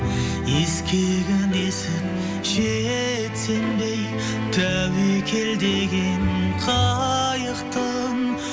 ескегін есіп жетсем де тәуекел деген қайықтың